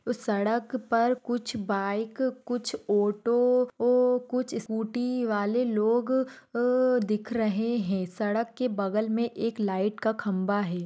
सड़क पर कुछ बाइक कुछ ऑटो और कुछ स्कूटी वाले लोग अ दिख रहे है सड़क के बगल में एक लाइट का खंबा है।